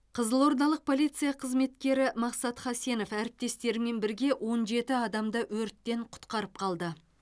қызылордалық полиция қызметкері мақсат хасенов әріптестерімен бірге он жеті адамды өрттен құтқарып қалды